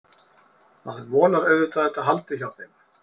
Maður vonar auðvitað að þetta haldi hjá þeim.